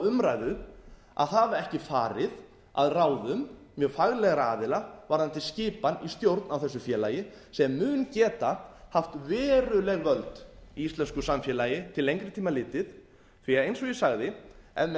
umræðu að hafa ekki farið að ráðum mjög faglegra aðila varðandi skipan í stjórn á þessu félagi sem mun geta haft veruleg völd í íslensku samfélagi til lengri tíma litið því eins og ég sagði ef